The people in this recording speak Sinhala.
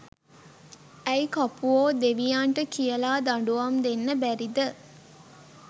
ඇයි කපුවො දෙවියන්ට කියල දඩුවම් දෙන්න බැරිද